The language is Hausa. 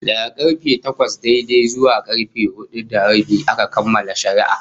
Daga karfe takwas daidai zuwa karfe hudu da rabi aka kammala shari'ar